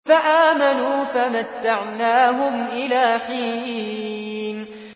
فَآمَنُوا فَمَتَّعْنَاهُمْ إِلَىٰ حِينٍ